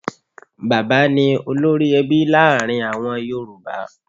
Bàbá ni olórí-ẹbí láàrin àwọn yorùbá.